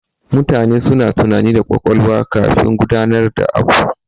Mutane suna tunani da ƙwaƙwalwa kafin gudanar da abu.